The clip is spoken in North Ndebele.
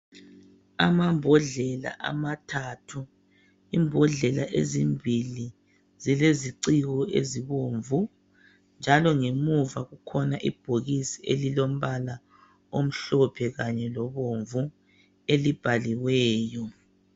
Amambodlela amathathu, imbodlela ezimbili zileziciko ezibomvu njalo ngemuva kukhona ibhokisi elilombala omhlophe kanye lobomvu elibhaliweyo.